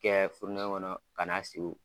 Kɛ furenen kɔnɔ ka na sigi